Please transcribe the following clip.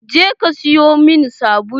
Je ka siyo min sabulu!